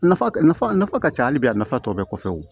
Nafa nafa nafa ka ca hali bi a nafa tɔ bɛɛ kɔfɛ wo